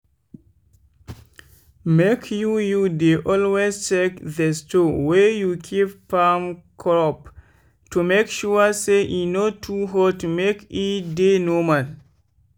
make you you dey always check the store wey you keep farm crop to make sure say e no too hot make e dey normal.